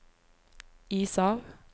is av